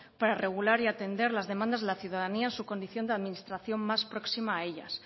para regular y atender las demandas de la ciudadanía en su condición administración más próxima a ellas